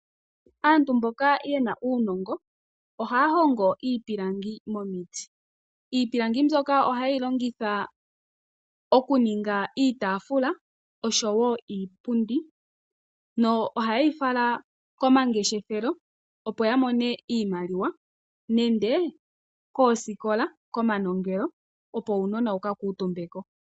Aantu mboka ye na uunongo ohaya hongo iipilangi momiti. Iipilangi mbyono ohaye yi longitha okuninga iitaafula, osho wo iipundi. Ohaye yi fala komangeshefelo, opo ya mone iimaliwa nenge koosikola/komanongelo, opo uunona wu ka kuutumbe ko.